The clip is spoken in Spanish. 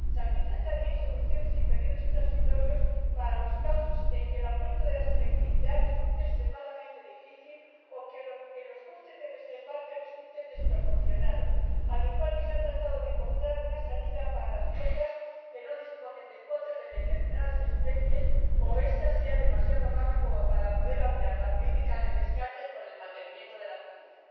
Se arbitran también soluciones y períodos transitorios para los casos en que el aumento de la selectividad resulte extremadamente difícil o los costes del desembarque resulten desproporcionados, al igual que se ha tratado de encontrar una salida para las flotas que no disponen de cuotas de determinadas especies, o esas sean demasiado bajas como para poder aunar la política de descartes con el mantenimiento de la actividad.